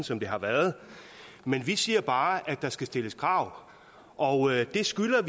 som det har været men vi siger bare at der skal stilles krav og det skylder